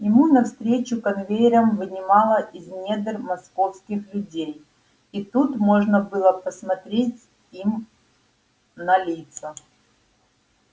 ему навстречу конвейером вынимало из недр московских людей и тут можно было посмотреть им на лица